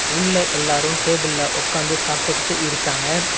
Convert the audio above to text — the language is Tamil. உள்ள எல்லாரும் டேபிள்ல ஒக்காந்து சாப்பிட்டுக்கிட்டு இருக்காங்க.